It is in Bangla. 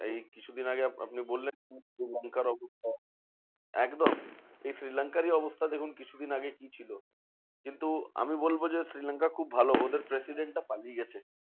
এই কিছুদিন আগে আপ~ আপনি বললেন শ্রীলঙ্কার অবস্থা, একদম এই শ্রীলঙ্কারই অবস্থা দেখুন কিছুদিন আগে কি ছিল? কিন্তু আমি বলবো যে, শ্রীলঙ্কার খুব ভালো ওদের president টা পালিয়ে গেছে